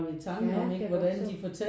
Jah det kan jeg godt forstå